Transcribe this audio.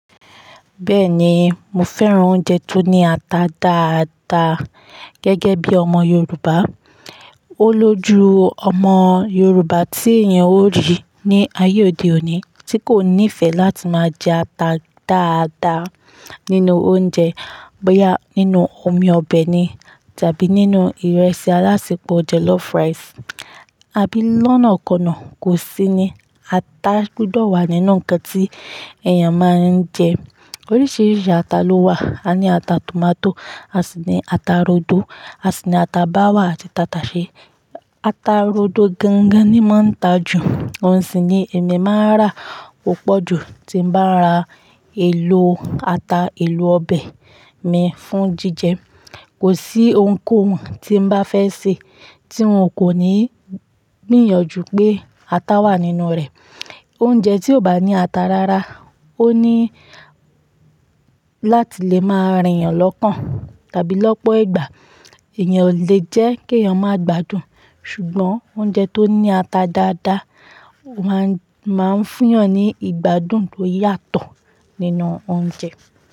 Bẹ́ẹ̀ni, mo fẹ́ràn oúnjẹ tó ní ata dáadáa gẹ́gẹ́bí ọmọ Yorùbá. Ó lójú ọmọ Yorùbá tí èèyàn ó rí ní ayé òde òní tí kò nífẹ̀ẹ́ láti máa jẹ ata dáadáa nínú oúnjẹ, bóyá nínú omi ọbẹ̀ ni tàbí nínú ìrẹsì alásèpọ̀ jollof rice. Abí lọ́nà ko náà kò sí ni, ata gbọdọ̀ wà nínú ǹkan tí èèyàn máa ń jẹ. Oríṣiríṣi ata ló wà. A ní ata tòmátò, a sì ní ata rodo, a sì ní ata báwà àti tataṣe. Ata rodo gangan ni máa ń ta jù, ohùn sì ni èmi máa rà púpọ̀ jù tí bá ra èlò ata, èlò ọbẹ̀ mi fún jíjẹ. Kò sí ohunkóhun tí n bá fẹ́ sè tí n kò ní gbìyànjú pé ata wà nínú rẹ̀. Oúnjẹ tí ò bá ní ata rárá, ó ní láti lè máa rìn yàn lọ́ọ̀kan tàbí lọ́pọ̀ ìgbà. Ẹ̀yàn lè jẹ́ kí èèyàn máa gbádùn, ṣùgbọ́n oúnjẹ tó ní ata dáadáa máa ń fún yàn ní ìgbádùn tó yàtọ̀ nínú oúnjẹ.